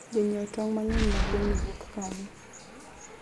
jonyie tong mangeny we gwengni wuok kanye?